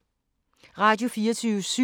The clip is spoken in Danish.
Radio24syv